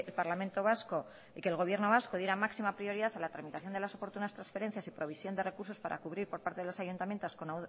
parlamento vasco y que el gobierno vasco diera máxima prioridad a la tramitación de las oportunas transferencias y previsión de recursos para cubrir por parte de los ayuntamientos con